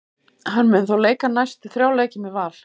Hann mun þó leika næstu þrjá leiki með Val.